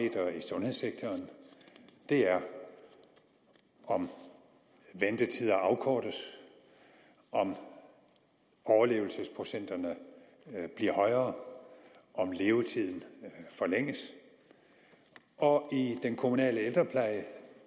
sundhedssektoren er om ventetiderne afkortes om overlevelsesprocenterne bliver højere om levetiden forlænges og i den kommunale ældrepleje